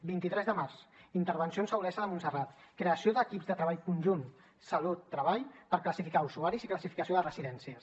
vint tres de març intervencions a olesa de montserrat creació d’equips de treball conjunt salut treball per classificar usuaris i classificació de residències